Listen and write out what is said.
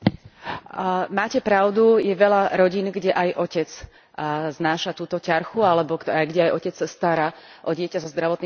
Máte pravdu je veľa rodín, kde aj otec znáša túto ťarchu alebo kde aj otec sa stará o dieťa so zdravotným postihnutím.